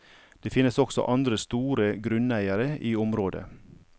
Det finnes også andre store grunneiere i området.